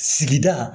Sigida